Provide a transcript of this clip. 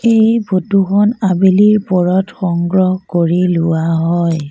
এই ফটো খন আবেলিৰ পৰত সংগ্ৰহ কৰি লোৱা হয়।